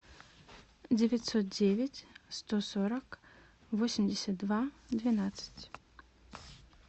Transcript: девятьсот девять сто сорок восемьдесят два двенадцать